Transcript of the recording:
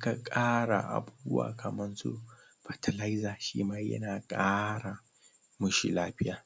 kan ƙara abubuwa kaman su fetilizer shima yana ƙara ƙoshin lafiya